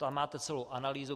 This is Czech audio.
Tam máte celou analýzu.